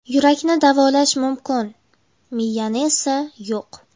Yurakni davolash mumkin, miyani esa yo‘q.